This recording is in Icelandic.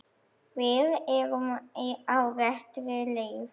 Við erum á réttri leið